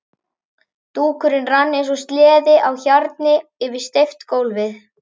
Dúkurinn rann eins og sleði á hjarni yfir steypt gólfið.